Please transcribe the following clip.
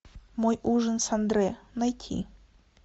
мой ужин с андре найти